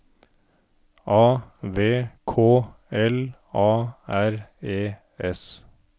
A V K L A R E S